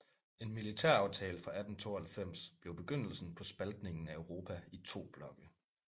En militæraftale fra 1892 blev begyndelsen på spaltningen af Europa i to blokke